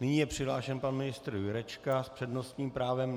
Nyní je přihlášen pan ministr Jurečka s přednostním právem.